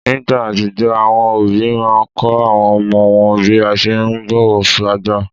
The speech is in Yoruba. Nígbà àtijó, àwọn òbí máa n kọ́ àwọn ọmọ wọn bí a ṣe ún bọ̀wọ̀ fágbà